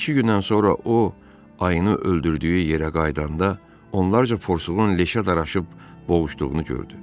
İki gündən sonra o ayını öldürdüyü yerə qayıdanda, onlarca porsuğun leşə daraşıb boğuşduğunu gördü.